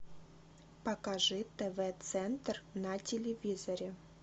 покажи тв центр на телевизоре